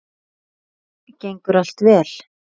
Gengur allt vel?